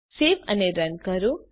save અને run કરો